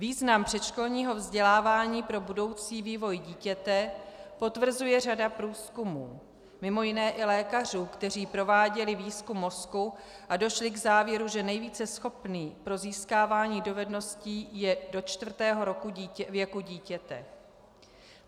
Význam předškolního vzdělávání pro budoucí vývoj dítěte potvrzuje řada průzkumů, mimo jiné i lékařů, kteří prováděli výzkum mozku a došli k závěru, že nejvíce schopný pro získávání dovedností je do čtvrtého roku věku dítěte.